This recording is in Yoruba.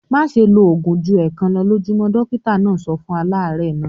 "Má ṣe lo òògùn ju ẹ̀ẹ̀kan lọ lójúmọ́! Dọ́kítá náà sọ fún aláàárẹ̀ náà.